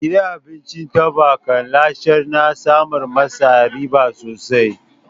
Gidan abincin taɓa ka lashen na samar ma sa riba sosai.